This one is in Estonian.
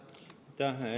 Aitäh!